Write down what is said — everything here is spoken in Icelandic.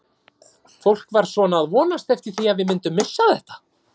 Fólk var svona að vonast eftir því að við myndum missa þetta.